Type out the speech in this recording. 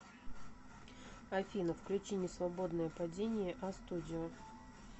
афина включи несвободное падение астудио